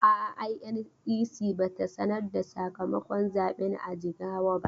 A'a, INEC ba ta sanar da sakamakon zaben a Jigawa ba.